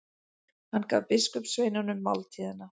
Hann gaf biskupssveinunum máltíðina.